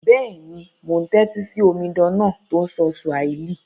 Béèni, mo n tẹ́tí si omidan náà to n sọ Swahili